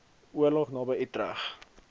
oorlog naby utrecht